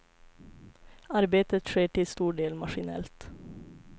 Arbetet sker till stor del maskinellt.